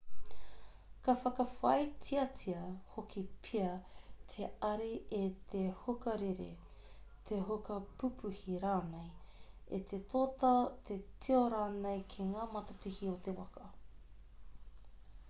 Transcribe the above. ka whakawhāititia hoki pea te ari e te huka rere te huka pupuhi rānei e te tōtā te tio rānei ki ngā matapihi o te waka